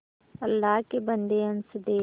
अल्लाह के बन्दे हंस दे